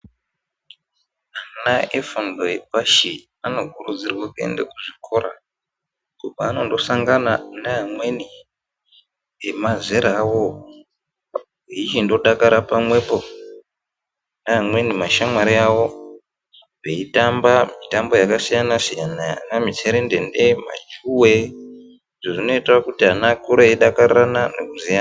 Ana efundo yepashi anokurudzirwe kuenda kuzvikora uko kwaanosangana neamweni emazera awowo eiyichindodakara pamwepo neamweni mashamwari awowo veitamba mitambo yakasiyana siyana ana mutserendende majuwe izvo zvinoite kuti ana akure eidakariran nekuziyana.